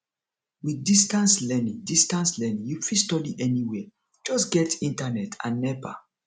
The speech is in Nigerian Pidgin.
with distance learning distance learning you fit study anywhere just get internet and nepa